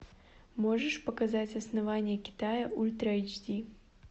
можешь показать основание китая ультра эйч ди